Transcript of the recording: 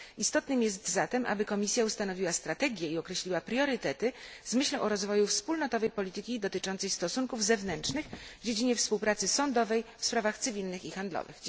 Istotne jest zatem, aby Komisja ustanowiła strategię i określiła priorytety z myślą o rozwoju wspólnotowej polityki dotyczącej stosunków zewnętrznych w dziedzinie współpracy sądowej w sprawach cywilnych i handlowych.